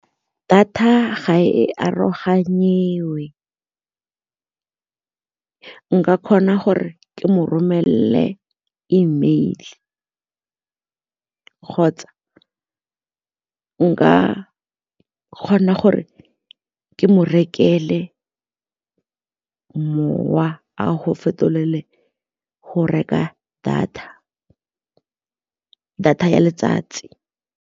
Data ga e aroganyiwe, nka kgona gore ke mo romelele E mail kgotsa nka kgona gore ke mo rekele mowa a go fetolele go reka data ya letsatsi.